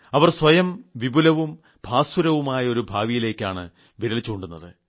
അവർ സ്വയം വിപുലവും ഭാസുരവുമായ ഒരു ഭാവിയിലേയ്ക്കാണ് വിരൽ ചൂണ്ടുന്നത്